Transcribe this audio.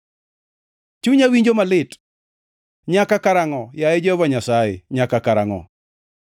Chunya winjo malit. Nyaka karangʼo, yaye Jehova Nyasaye, nyaka karangʼo?